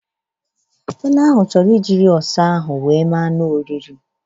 Ele ahụ chọrọ ijịrị ọsa ahụ wee mere anụ oriri